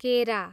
केरा